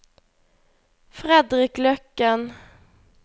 Fredrik Løkken